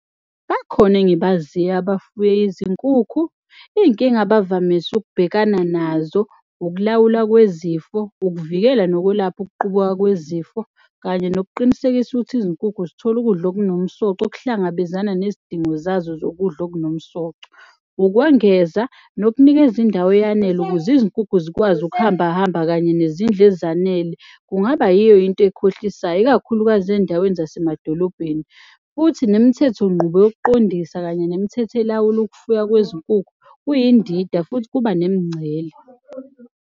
Bakhona engibaziyo abafuye izinkukhu. Iy'nkinga abavamise ukubhekana nazo ukulawulwa kwezifo, ukuvikela nokwelapha ukuqubuka kwezifo. Kanye nokuqinisekisa ukuthi izinkukhu zithola ukudla okunomsoco, okuhlangabezana nezidingo zazo zokudla okunomsoco. Ukwengeza, nokunikeza indawo eyanele ukuze izinkukhu zikwazi ukuhambahamba kanye nezindlu ezanele. Kungaba yiyo into ekhohlisayo, ikakhulukazi endaweni zasemadolobheni, futhi nemithethonqubo yokuqondisa. Kanye nemithetho elawula ukufuywa kwezinkukhu, kuyindida futhi kuba nemncele.